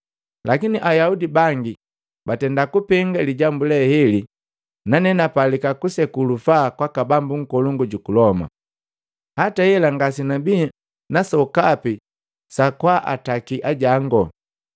Lakini Ayaudi bangi bapenga lijambu le heli nane napalika kuseku lufaa kwaka bambu nkolongu juku Loma, hata hela ngasenabii na sokapi sa kwaa akataki ajangu.”